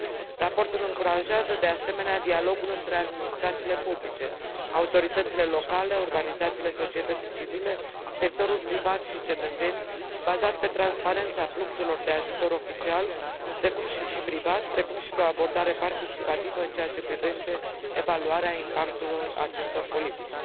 Raportul încurajează de asemenea dialogul între administrațiile publice, autoritățile locale, organizațiile societății civile, sectorul privat și cetățeni, bazat pe transparența fluxurilor de ajutor oficial și privat, precum și pe o abordare participativă în ceea ce privește evaluarea impactului acestor politici.